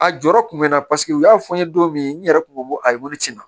A jɔyɔrɔ kun bɛ na paseke u y'a fɔ n ye don min n yɛrɛ kun ko n ko ayi nko ne ti na